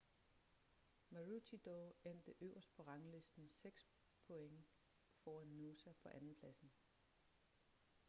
maroochydore endte øverst på ranglisten seks points foran noosa på andenpladsen